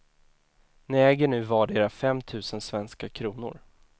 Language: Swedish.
Ni äger nu vardera fem tusen svenska kronor.